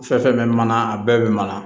Fɛn fɛn bɛ mana a bɛɛ bɛ mana